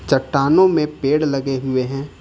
चट्टानों में पेड़ लगे हुए है।